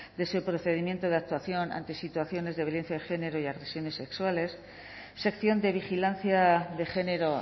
de ese procedimiento de actuación ante situaciones de violencia de género y agresiones sexuales sección de vigilancia de género